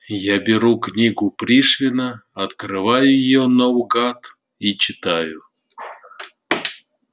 я беру книгу пришвина открываю её наугад и читаю